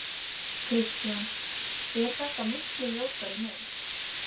Kristján: Er þetta miklu ljótari mynd?